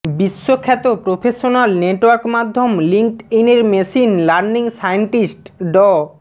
বিশ্বখ্যাত professional network মাধ্যম লিংকডইনের মেশিন লার্নিং সায়েন্টিস্ট ড